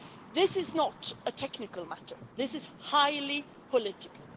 This is not a technical matter. This is highly political.